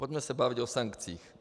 Pojďme se bavit o sankcích.